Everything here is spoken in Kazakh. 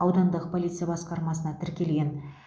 аудандық полиция басқармасына тіркелген